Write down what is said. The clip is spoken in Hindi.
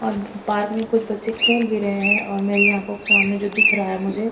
और पार्क में कुछ बच्चे खेल भी रहे हैं मेरी आँखों के सामने जो दिख रहा है मुझे--